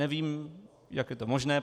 Nevím, jak je to možné.